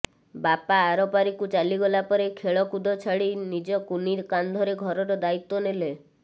ବାପା ଆରପାରିକୁ ଚାଲିଗଲା ପରେ ଖେଳ କୁଦ ଛାଡ଼ି ନିଜ କୁନି କାନ୍ଧରେ ଘରର ଦାୟିତ୍ୱ ନେଲେ